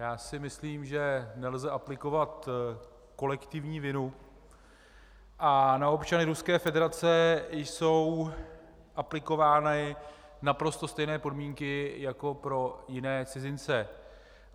Já si myslím, že nelze aplikovat kolektivní vinu a na občany Ruské federace jsou aplikovány naprosto stejné podmínky jako na jiné cizince.